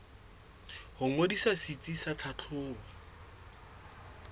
ho ngodisa setsi sa tlhahlobo